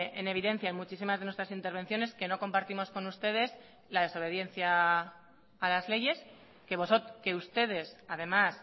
en evidencia en muchísimas de nuestras intervenciones que no compartimos con ustedes la desobediencia a las leyes que ustedes además